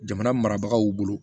Jamana marabagaw bolo